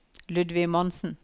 Ludvig Monsen